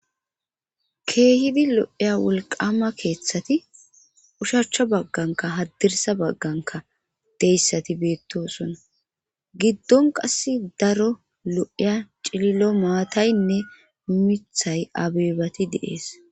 Keehidi lo'iya wulqama keeththati ushachcha bagganka haddirsa bagganka deyssati beettosonna giddon qas daro lo'iya cililo maataynne mithay abeebati de'ees.